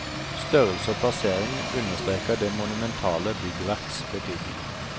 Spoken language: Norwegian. Størrelse og plassering understreker det monumentale byggverks betydning.